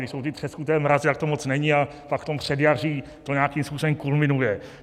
Když jsou ty třeskuté mrazy, tak to moc není, a pak v tom předjaří to nějakým způsobem kulminuje.